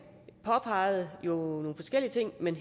påpegede jo nogle forskellige ting men